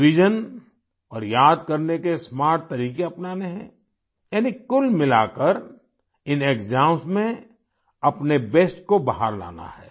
revision और याद करने के स्मार्ट तरीक़े अपनाने हैं यानी कुल मिलाकर इन एक्साम्स में अपने बेस्ट को बाहर लाना है